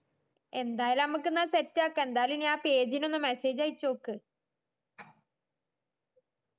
എന്തായാലും ഞമ്മക്ക് ന്നാ set ആക്കാ എന്തായാലും ആ page നൊന്ന് message അയചോക്ക്